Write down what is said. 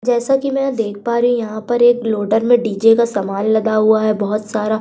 जैसा कि मैं यहां देख पा रही हूं यहां पर एक लोडर में डीजे का सामान लदा हुआ है बहुत सारा।